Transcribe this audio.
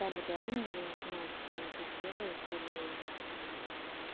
там реально я не знаю кто это делает или